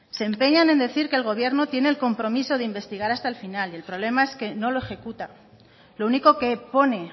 se empeñan en decir que el gobierno tiene el compromiso de investigar hasta el final y el problema es que no lo ejecuta lo único que pone